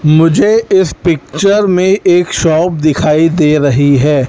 मुझे इस पिक्चर में एक शॉप दिखाई दे रही है।